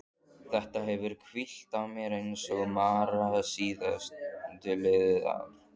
Þetta hefur hvílt á mér eins og mara síðastliðið ár.